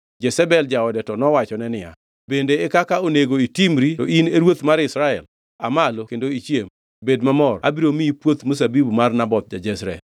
Jezebel jaode to nowachone niya, “Bende e kaka onego itimri to in e ruoth mar Israel? Aa malo kendo ichiem! Bed mamor. Abiro miyi puoth mzabibu mar Naboth ja-Jezreel.”